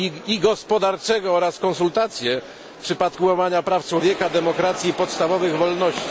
i gospodarczego oraz konsultacje w przypadku łamania praw człowieka, demokracji i podstawowych wolności.